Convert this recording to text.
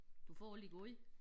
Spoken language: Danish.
Du får alle de gode